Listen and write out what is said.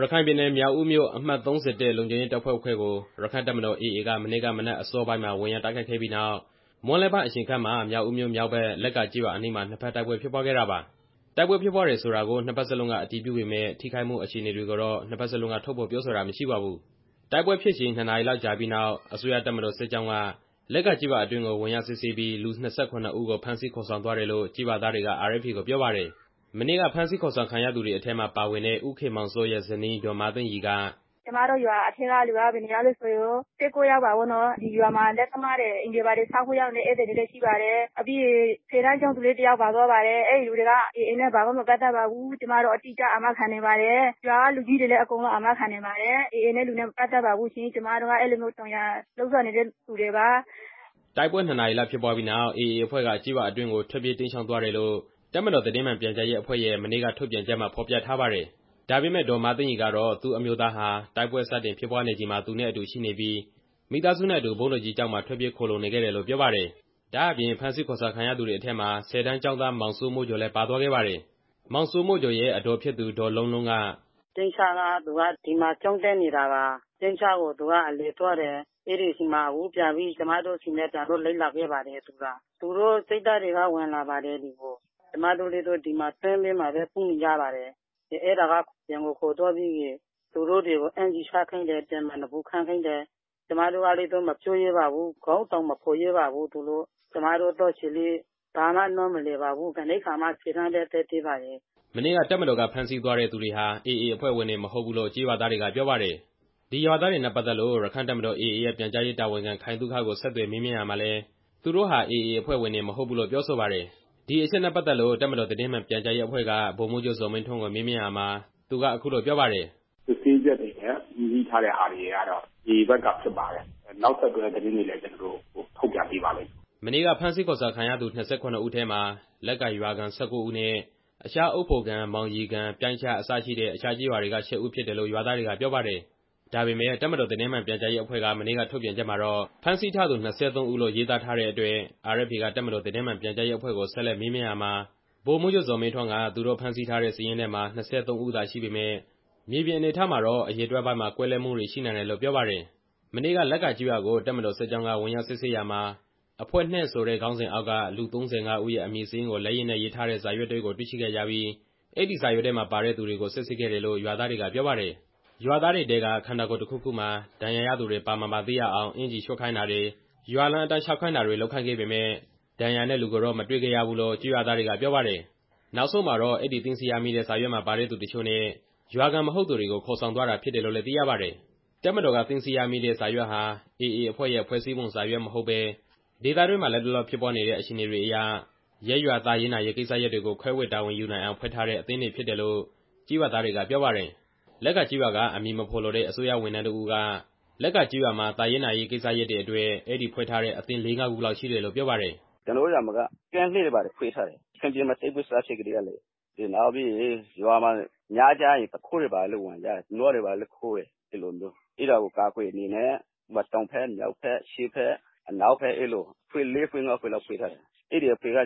ရခိုင်ပြည်နယ် မြောက်ဦးမြို့ အမှတ် လုံခြုံရေးရဲတပ်ဖွဲ့ခွဲကို ရက္ခိုင့်တပ်မတော် AA က မနေ့က မနက် အစောပိုင်းမှာ ဝင်ရောက်တိုက်ခိုက်ခဲ့ပြီးနောက် မွန်းလွဲပိုင်းခန့်အချိန်မှာ မြောက်ဦးမြို့ မြောက်ဘက် လက္ကာကျေးရွာအနီးမှာ နှစ်ဖက်တိုက်ပွဲဖြစ်ပွားခဲ့တာပါ။ တိုက်ပွဲဖြစ်ပွားတယ်ဆိုတာကို နှစ်ဖက်စလုံးက အတည်ပြုပေမယ့် ထိခိုက်မှုအခြေအနေကိုတော့ နှစ်ဖက်စလုံးက ထုတ်ဖော် ပြောဆိုတာမရှိပါဘူး။ တိုက်ပွဲဖြစ်ချိန် ၂ နာရီလောက်ကြာပြီးနောက် အစိုးရတပ်မတော်စစ်ကြောင်းက လက္ကာကျေးရွာအတွင်းကို ဝင်ရောက်စစ်ဆေးပြီး လူ ၂၇ ဦးကို ဖမ်းဆီးခေါ်ဆောင်သွားတယ်လို့ ကျေးရွာသားတွေက RFA ကိုပြောပါတယ်။ မနေ့ကဖမ်းဆီးခေါ်ဆောင်ခံရသူတွေထဲမှာပါဝင်တဲ့ ဦးခင်မောင်စောရဲ့ ဇနီး ဒေါ်မသိန်းရီက - "ကျွန်မတို့ရွာထဲကလူက ၁၉ ယောက်ပေါ့နော်။ ဒီရွာမှာ လက်သမားတွေ၊ အိမ်တွေဘာတွေဆောက်ဖို့ ရောက်နေတဲ့သူတွေလည်းရှိပါတယ်။ ပြီးတော့ ဆယ်တန်းကျောင်းသားတစ်ယောက်လည်း ပါသွားပါတယ်။ အဲဒီလူတွေက AA နဲ့ ဘာမှမပတ်သက်ပါဘူး။ ကျွန်မတို့အတိအကျ အာမခံနိုင်ပါတယ်။ ရွာကလူကြီးတွေလည်း အကုန်လုံးအာမခံနိုင်ပါတယ်။ AA နဲ့ မပတ်သက်ပါဘူး။ ကျွန်မတို့က အဲလိုမျိုး ကြုံရာလုပ်စားနေကြတဲ့သူတွေပါရှင်" တိုက်ပွဲ ၂ နာရီလောက်ဖြစ်ပွားပြီးနောက် AA အဖွဲ့က ကျေးရွာအတွင်းကို ထွက်ပြေးတိမ်းရှောင် သွားတယ်လို့ တပ်မတော်သတင်းမှန်ပြန်ကြားရေးအဖွဲ့ရဲ့ မနေ့ကထုတ်ပြန်ချက်မှာဖော်ပြထားပါတယ်။ ဒါပေမဲ့ ဒေါ်မသိန်းရီကတော့ သူ့အမျိုးသားဟာ တိုက်ပွဲစတင်ဖြစ်ပွားနေချိန်မှာ သူနဲ့အတူရှိနေပြီး မိသားစုနဲ့အတူ ဘုန်းတော်ကြီးကျောင်းမှာ ထွက်ပြေးခိုလှုံနေခဲ့တယ်လို့ပြောပါတယ်။ ဒါ့အပြင် ဖမ်းဆီးခေါ်ဆောင်ခံရသူတွေမှာ ဆယ်တန်းကျောင်းသား မောင်စိုးမိုးကျော် လည်းပါသွားခဲ့ပါတယ်။ မောင်စိုးမိုးကျော်ရဲ့ အဒေါ်ဖြစ်သူ ဒေါ်လုံးလုံးက - "သူက ပြိုင်းချရွာကနေ ဒီမှာကျောင်းတက်နေတာပါ။ ပြိုင်းချကို သူကအလည်သွားတယ်။ အဲဒီမှာ ကျွန်မတို့နဲ့အတူ ဒီကိုပြန်လိုက်လာပါ။ သူတို့စစ်သားတွေက ရွာထဲဝင်လာတော့ ကျွန်မတို့က ဗုံးခိုကျင်းထဲ ပုန်းနေကြရပါတယ်။ အဲဒါကနေ အပြန်ကိုခေါ်ထုတ်ပြီး အင်္ကျီချွတ်ခိုင်းတယ်။ အပြင်မှာ နေပူခံခိုင်းတယ်။ ကျွန်မတို့ကတော့ ပြန်မပြောရဲဘူး။ ခေါင်းတောင်မဖော်ရဲဘူး။ ကျွန်မသားလေးက ဘာမှနားမလည်ဘူး။ အခုမှဆယ်တန်းပဲရှိသေးတာ" မနေ့က တပ်မတော်က ဖမ်းဆီးသွားတဲ့သူတွေဟာ AA အဖွဲ့ဝင်တွေမဟုတ်ဘူးလို့ ကျေးရွာသားတွေက ပြောပါတယ်။ ဒီရွာသားတွေနဲ့ ပတ်သက်လို့ ရက္ခိုင့်တပ်မတော် AA ရဲ့ပြန်ကြားရေးတာဝန်ခံ ခိုင်သုခကို ဆက်သွယ်မေးမြန်း ရာမှာလည်း သူတို့ဟာ AA တပ်ဖွဲ့ဝင်တွေ မဟုတ်ဘူးလို့ပြောဆိုတယ်။ ဒီအချက်နဲ့ပတ်သက်လို့ တပ်မတော်သတင်းမှန်ပြန်ကြားရေးအဖွဲ့က ဗိုလ်မှူးချုပ်ဇော်မင်းထွန်းကိုမေးမြန်းရာမှာ အခုလိုပြောပါတယ်။ "စစ်ဆေးချက်တွေနဲ့ အတည်ပြုထားတဲ့ဟာတွေအရတော့ AA ဘက်ကဖြစ်ပါတယ်။ နောက်ဆက်တွဲသတင်းတွေကိုလည်း ကျွန်တော်တို့ ထုတ်ပြန်ပေးပါမယ်" မနေ့က ဖမ်းဆီးခေါ်ဆောင်ခံရသူ ၂၇ ဦးထဲမှာ လက္ကာရွာခံ ၁၉ ဦးနဲ့ အခြား အုတ်ဖိုကန်၊ မောင်ရီကန်၊ ပြိုင်းချ အစရှိတဲ့ အခြားကျေးရွာက ၈ ဦးဖြစ်တယ်လို့ရွာသားတွေကပြောပါတယ်။ ဒါပေမဲ့ တပ်မတော်သတင်းမှန်ပြန်ကြားရေးအဖွဲ့က မနေ့ကထုတ်ပြန်ချက်မှာတော့ ဖမ်းဆီးထားသူ ၂၃ ဦးလို့ ရေးသားထားတဲ့အတွက် RFA က တပ်မတော်သတင်းမှန်ပြန်ကြားရေးအဖွဲ့ကို ဆက်သွယ်မေးမြန်းရာမှာ ဗိုလ်မှူးချုပ်ဇော်မင်းထွန်းက သူတို့ဖမ်းဆီးထားတဲ့ စာရင်းထဲမှာ ၂၃ ဦးရှိပေမယ့် မြေပြင်အနေအထားမှာတော့ အရေအတွက်ပိုင်းမှာ ကွဲလွဲမှုရှိနိုင်တယ်လို့ပြောပါတယ်။ မနေ့က လက္ကာကျေးရွာကို တပ်မတော်စစ်ကြောင်းက ဝင်ရောက်စစ်ဆေးရာမှာ အဖွဲ့ ဆိုတဲ့ ခေါင်းစဉ်အောက်က လူ ၃၅ ဦးရဲ့အမည်စာရင်းကို လက်ရေးနဲ့ရေးထားတဲ့ စာရွက်တစ်ရွက်ကိုတွေ့ရှိခဲ့ကြပြီး အဲဒီစာရွက်မှာပါတဲ့သူတွေကို စစ်ဆေးခဲ့တယ်လို့ ရွာသားတွေကပြောပါတယ်။ ရွာသားတွေထဲက ခန္ဓာကိုယ်တစ်ခုခုမှာ ဒဏ်ရာရသူတွေပါ မပါသိရအောင် အင်္ကျီချွတ်ခိုင်းတာတွေ၊ ရွာလမ်းအတိုင်းလျှောက်ခိုင်းတာတွေ လုပ်ခိုင်းခဲ့ပေမယ့် ဒဏ်ရာနဲ့လူတွေကိုတော့ မတွေ့ခဲ့ရဘူးလို့ ကျေးရွာသားတွေကပြောပါတယ်။ နောက်ဆုံးမှာတော့ အဲဒီသိမ်းဆည်းရမိတဲ့စာရွက်မှာပါတဲ့သူအချို့နဲ့ ရွာခံမဟုတ်သူတွေကို ခေါ်ဆောင်သွားတာ ဖြစ်တယ်လို့လည်းသိရပါတယ်။ တပ်မတော်ကသိမ်းဆည်းရမိတဲ့စာရွက်ဟာ AA အဖွဲ့ရဲ့ ဖွဲ့စည်းပုံစာရွက်မဟုတ်ဘဲ ဒေသတွင်းမှာ လတ်တလောဖြစ်ပွားနေတဲ့ အခြေအနေတွေအရ ရပ်ရွာ သာရေးနာရေးကိစ္စရပ်တွေကို ခွဲဝေတာဝန်ယူနိုင်အောင် ဖွဲ့ထားတဲ့ အသင်းတွေဖြစ်တယ်လို့ ကျေးရွာသားတွေကပြောပါတယ်။ လက္ကာကျေးရွာက အမည်မဖော်လိုတဲ့ အစိုးရဝန်ထမ်းတစ်ဦးက လက္ကာကျေးရွာမှာ သာရေးနာရေးကိစ္စရပ်တွေ အတွက် အဲဒီဖွဲ့ထားတဲ့အသင်း လေးငါးခုလောက်ရှိတယ်လို့ပြောပါတယ်။ "ကျွန်တော်တို့ရွာမှာက ကင်းအဖွဲ့တွေဘာတွေဖွဲ့ထားတယ်။ အဲဒါက ရခိုင်ပြည်မှာ တိုက်ပွဲစဖြစ်ကတည်းကပါ။ နောက်ပြီးရင် ရွာမှာက ညကျရင် သူခိုးတွေလည်းဝင်တယ်။ နွားတွေဘာတွေခိုးတယ်။ အဲဒါကိုကာကွယ်ဖို့ အတွက် ရွာရဲ့ တောင်ဘက်၊ မြောက်ဘက်၊ အရှေ့ဘက်၊ အနောက်ဘက် အဲလို အဖွဲ့ လေးငါးခုလောက် ဖွဲ့ထားတယ်။ အခုအဖွဲ့က